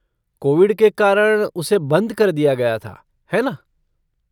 Covid के कारण, उसे बंद कर दिया गया था, है ना?